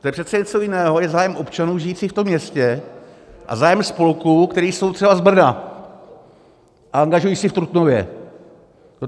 To je přece něco jiného, je zájem občanů žijících v tom městě a zájem spolků, které jsou třeba z Brna a angažují se v Trutnově.